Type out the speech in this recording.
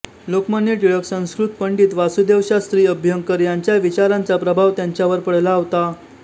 लोकमान्य टिळक संस्कृत पंडित वासुदेवशास्त्री अभ्यंकर यांच्या विचारांचा प्रभाव त्यांच्यावर पडला होता